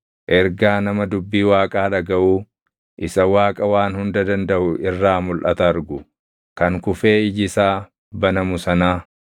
ergaa nama dubbii Waaqaa dhagaʼuu isa Waaqa Waan Hunda Dandaʼu irraa mulʼata argu kan kufee iji isaa banamu sanaa: